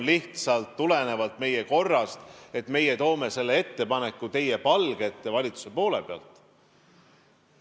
See tuleneb lihtsalt meie korrast, et meie toome selle ettepaneku teie palge ette valitsuse poole pealt.